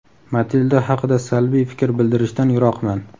Matilda haqida salbiy fikr bildirishdan yiroqman.